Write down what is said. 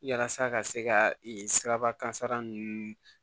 Walasa ka se ka siraba kansara ninnu